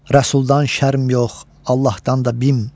Rəsuldan şərm yox, Allahdan da bim.